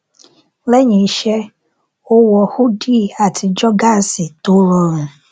lẹyìn iṣẹ ó wọ húdì àti jogásì tó rọrùn